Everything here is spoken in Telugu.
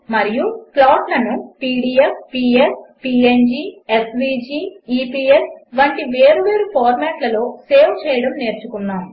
మరియు ప్లాట్లను PDF PS PNG SVG EPS వంటి వేరువేరు ఫార్మాట్లలో సేవ్ చేయడము నేర్చుకున్నాము